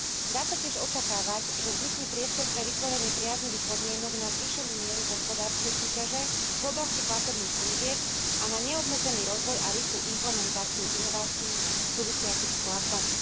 Dá sa tiež očakávať, že vznikne priestor pre vytvorenie priaznivých podmienok na zvýšenú mieru hospodárskej súťaže v oblasti platobných služieb a na neobmedzený rozvoj a rýchlu implementáciu inovácií súvisiacich s platbami.